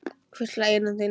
Hvísla í eyru þín.